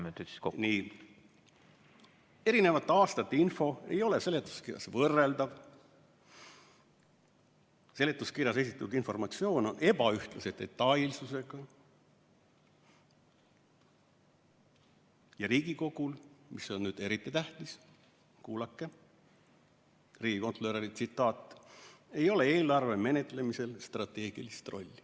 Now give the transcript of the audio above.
eri aastate info ei ole seletuskirjas võrreldav, seletuskirjas esitatud informatsioon on ebaühtlase detailsusega ja Riigikogul – see on eriti tähtis, nii et kuulake, need on riigikontrolöri sõnad – ei ole eelarve menetlemisel strateegilist rolli.